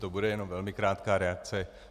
To bude jenom velmi krátká reakce.